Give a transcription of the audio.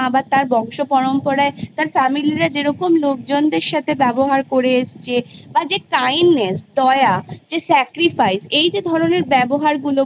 বা তার বংশপরম্পরায় তার Family রা যেরকম লোকজনদের সাথে ব্যবহার করে এসছে বা যে Kindness দয়া যে Sacrifice এই যে ধরণের ব্যবহারগুলো